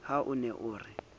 ha o ne o re